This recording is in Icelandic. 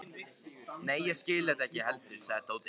Nei, ég skil þetta ekki heldur sagði Tóti.